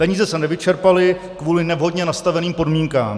Peníze se nevyčerpaly kvůli nevhodně nastaveným podmínkám.